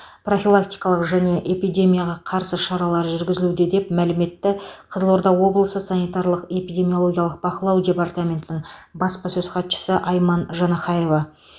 профилактикалық және эпидемияға қарсы шаралар жүргізілуде деп мәлім етті қызылорда облысы санитарлық эпидемиологиялық бақылау департаментінің баспасөз хатшысы айман жанахаева